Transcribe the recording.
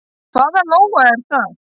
Hvað Lóa er það?